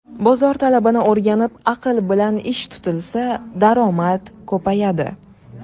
Bozor talabini o‘rganib, aql bilan ish tutilsa, daromad ko‘payadi”.